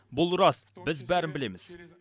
бұл рас біз бәрін білеміз